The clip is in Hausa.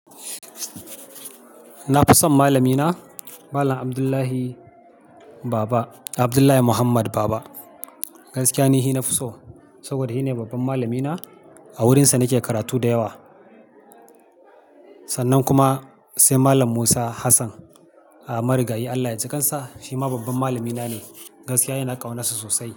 Na fi son malamina Malam Abdullahi Baba, Abdullahi Muhammad Baba. Gaskiya ne shi na fi so saboda shi ne babban malamina. A wurinsa nake karatu da yawa. Sannan kuma sai Malam Musa Hassan. Marigayi Allah ya jikan sa, shi ma babban malamina ne. Gaskiya ina ƙaunar sa sosai.